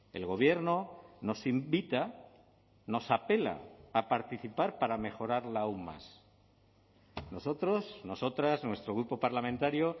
el gobierno nos invita nos apela a participar para mejorarla aún más nosotros nosotras nuestro grupo parlamentario